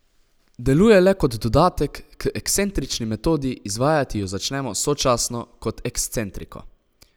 Deluje le kot dodatek k ekscentrični metodi, izvajati jo začnemo sočasno kot ekscentriko.